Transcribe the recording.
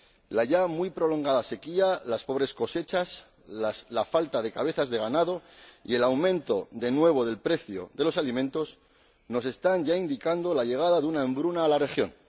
La ya muy prolongada sequía, las pobres cosechas, la falta de cabezas de ganado y el aumento, de nuevo, del precio de los alimentos nos están ya indicando la llegada de una hambruna a la región.